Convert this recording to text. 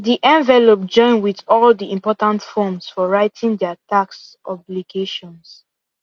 the envelope join with all the important forms for writing their tax obligations